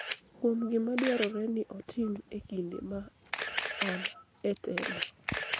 kuom gima dwarore ni otim e kinde ma an e telo,